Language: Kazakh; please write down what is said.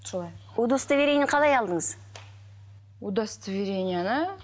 солай удостоверениені қалай алдыңыз удостоверениені